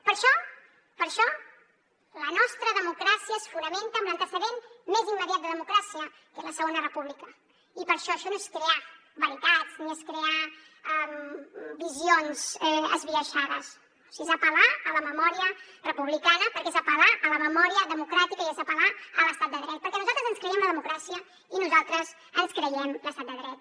per això per això la nostra democràcia es fonamenta en l’antecedent més immediat de democràcia que és la segona república i per això això no és crear veritats ni és crear visions esbiaixades és apel·lar a la memòria republicana perquè és apel·lar a la memòria democràtica i és apel·lar a l’estat de dret perquè nosaltres ens creiem la democràcia i nosaltres ens creiem l’estat de dret